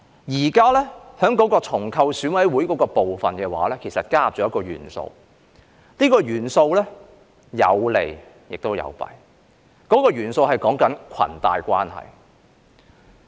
現時在重構選委會的部分其實加入了一個元素，這個元素有利也有弊，這個元素是裙帶關係。